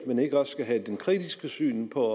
man ikke også skal have et kritisk syn på